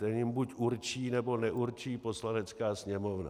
Ten jim buď určí, nebo neurčí Poslanecká sněmovna.